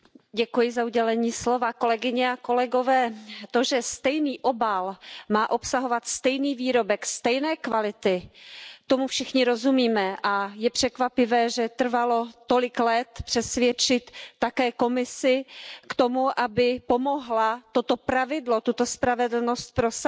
Pane předsedající, kolegyně a kolegové, to, že stejný obal má obsahovat stejný výrobek stejné kvality, tomu všichni rozumíme a je překvapivé, že trvalo tolik let přesvědčit také Komisi k tomu, aby pomohla toto pravidlo, tuto spravedlnost prosadit.